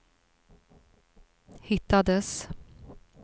hittades